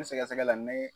N sɛgɛsɛgɛ la n bɛ